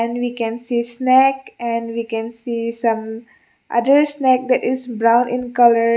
and we can see snack and we can see some other snack that is brown in colour.